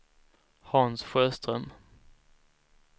Hans Sjöström